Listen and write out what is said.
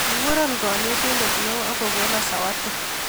Kikuro kanetindet neo akokono sawati